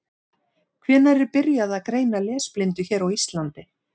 Hvenær var byrjað að greina lesblindu hér á Íslandi?